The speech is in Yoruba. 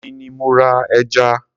èmi ni mo ra ẹja.